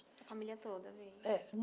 A família toda veio? é hum